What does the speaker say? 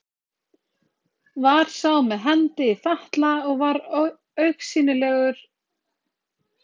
Var sá með hendi í fatla og var augsýnilega fárveikur, þó hann harkaði af sér.